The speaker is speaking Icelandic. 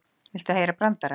Viltu heyra brandara?